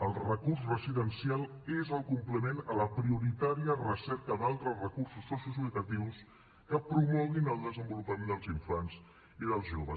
el recurs residencial és el complement a la prioritària recerca d’altres recursos socioeducatius que promoguin el desenvolupament dels infants i dels joves